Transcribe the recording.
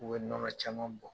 U bɛ nɔnɔ caman bɔ.